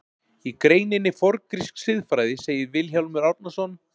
Í greininni Forngrísk siðfræði segir Vilhjálmur Árnason: